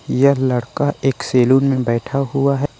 यह लड़का एक सैलून में बैठा हुआ है।